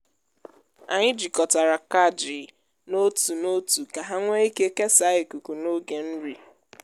anyị jikọtara kajii n’otu otu ka ha nwee ike kesaa ikuku na oge nri.